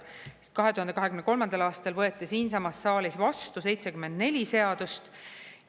Sest 2023. aastal võeti siinsamas saalis vastu 74 seadust.